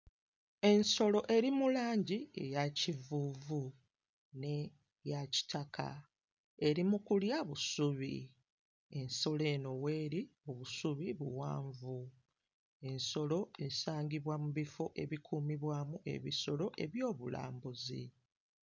Ensolo eri mu langi eya kivuuvu n'eya kitaka. Eri mu kulya busubi. Ensolo eno w'eri obusubi buwanvu. Ensolo esangibwa mu bifo ebikuumibwamu ebisolo eby'obulambuzi.